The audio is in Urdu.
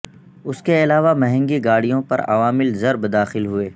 اس کے علاوہ مہنگی گاڑیوں پر عوامل ضرب داخل ہوئے